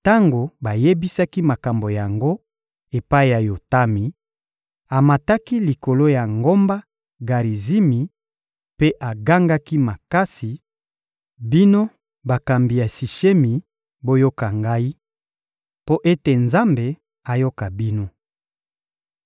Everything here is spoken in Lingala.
Tango bayebisaki makambo yango epai ya Yotami, amataki likolo ya ngomba Garizimi mpe agangaki makasi: «Bino bakambi ya Sishemi, boyoka ngai, mpo ete Nzambe ayoka bino.